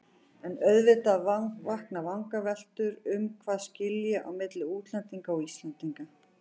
En auðvitað vakna vangaveltur um hvað skilji á milli útlendinga og Íslendinga.